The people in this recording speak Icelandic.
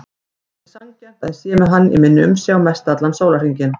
Það er ekki sanngjarnt að ég sé með hann í minni umsjá mestallan sólarhringinn.